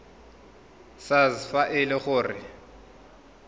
sars fa e le gore